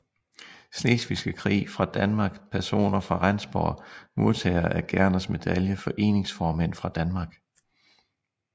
Slesvigske Krig fra Danmark Personer fra Rendsborg Modtagere af Gerners Medalje Foreningsformænd fra Danmark